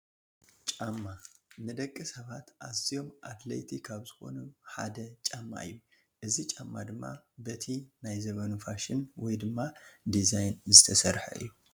ጫማ፡- ንደቂ ሰባት ኣዝዮም ኣድለይቲ ካብ ዝኾኑ ሓደ ጫማ እዩ፡፡ እዚ ጫማ ድማ በቲ ናይቲ ዘበኑ ፋሽን ወይ ድማ ዲዛይን ዝተሰርሐ እዩ፡፡